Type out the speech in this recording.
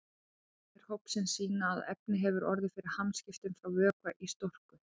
Rannsóknir hópsins sýna að efnið hefur orðið fyrir hamskiptum frá vökva í storku.